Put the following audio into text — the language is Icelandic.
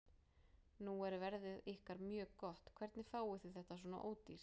Nú er verðið ykkar mjög gott, hvernig fáið þið þetta svona ódýrt?